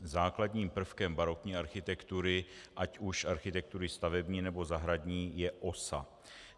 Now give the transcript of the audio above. Základním prvkem barokní architektury, ať už architektury stavební, nebo zahradní, je osa.